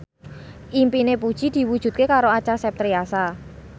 impine Puji diwujudke karo Acha Septriasa